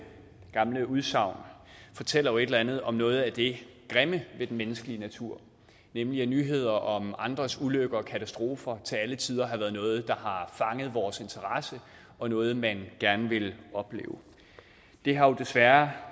udsagn fortæller jo et eller andet om noget af det grimme ved den menneskelige natur nemlig at nyheder om andres ulykker og katastrofer til alle tider har været noget der har fanget vores interesse og noget man gerne vil opleve det har desværre